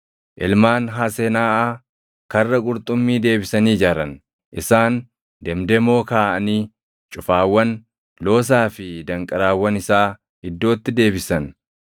Ilmaan Hasenaaʼaa Karra Qurxummii deebisanii ijaaran. Isaan demdemoo kaaʼanii cufaawwan, loosaa fi danqaraawwan isaa iddootti deebisan.